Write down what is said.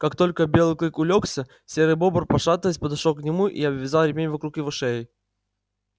как только белый клык улёгся серый бобр пошатываясь подошёл к нему и обвязал ремень вокруг его шеи